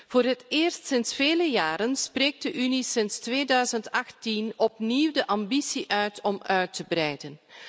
Voor het eerst sinds vele jaren spreekt de Unie sinds 2018 opnieuw de ambitie uit om uit te breiden.